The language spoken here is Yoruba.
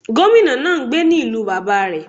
Gómìnà náà n gbé ní ìlú bàbá rẹ̀